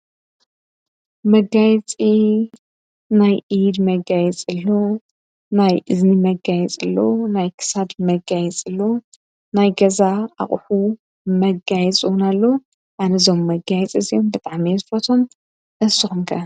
መጋይፂ ናይ ኢድ መጋይ ጽሎ ናይ እዝኒ መጋይ ጽሎ ናይ ክሳድ መጋይ ጽሎ ናይ ገዛ ኣቕሑ መጋይ ጽውናሎ ኣነዞም መጋይፂ እዘዮም በጣም መየፍረቶም ኣስቕምከ።